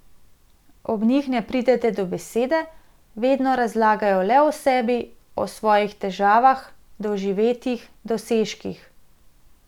Ob njih ne pridete do besede, vedno razlagajo le o sebi, o svojih težavah, doživetjih, dosežkih.